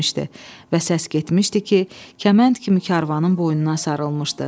Və səs getmişdi ki, kəmənd kimi karvanın boynuna sarılmışdı.